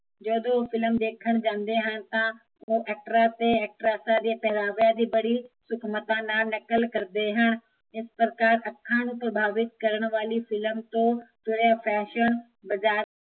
ਜਦੋਂ ਫਿਲਮ ਦੇਖਣ ਜਾਂਦੇ ਹਨ ਤਾਂ ਉਹ ਐਕਟਰਾਂ ਅਤੇ ਐਕਟਰੈਸਾਂ ਦੀਆ ਪਹਿਰਾਵਿਆਂ ਦੀ ਬੜੀ ਸੂਖਮਤਾ ਨਾਲ਼ ਨਕਲ ਕਰਦੇ ਹਨ ਇਸ ਪ੍ਰਕਾਰ ਅੱਖਾਂ ਨੂੰ ਪ੍ਰਭਾਵਿਤ ਕਰਨ ਵਾਲੀ ਫਿਲਮ ਤੋਂ ਤੁਰਿਆ ਫੈਸ਼ਨ ਬਜ਼ਾਰ